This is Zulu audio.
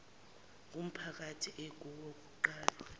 ngumphakathi ekuwo kuqalwe